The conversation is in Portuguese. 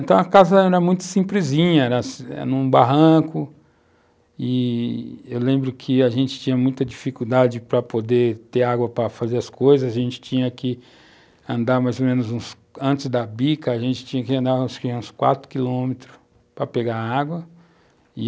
Então a casa era muito simplesinha, era as, num barranco e eu lembro que a gente tinha muita dificuldade para poder ter água para fazer as coisas, a gente tinha que andar mais ou menos, antes da bica, a gente tinha que andar uns quatro quilômetros para pegar água e,